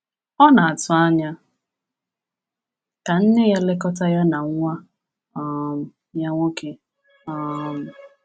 Ọ na-atụ anya ka nne ya lekọta ya na nwa um ya nwoke. um